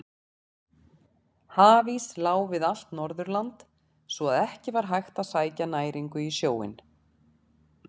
Hafís lá við allt Norðurland svo að ekki var hægt að sækja næringu í sjóinn.